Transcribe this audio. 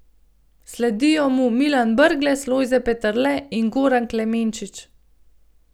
Sledijo mu Milan Brglez, Lojze Peterle in Goran Klemenčič.